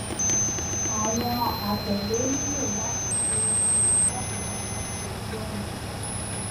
awọn atẹle nilo lati ṣee ṣe lati pada si ojuọna